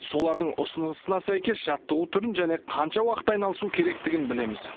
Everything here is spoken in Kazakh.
солардың ұсынысына сәйкес жаттығу түрін және қанша уақыт айналысу керектігін білеміз